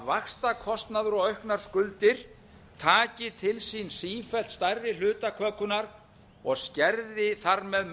vaxtakostnaður og auknar skuldir taki til sín sífellt stærri hluta kökunnar og skerði þar með